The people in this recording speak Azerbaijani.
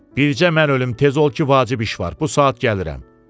Bircə mən ölüm, tez ol ki, vacib iş var, bu saat gəlirəm.